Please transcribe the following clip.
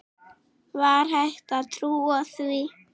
Var hægt að trúa því?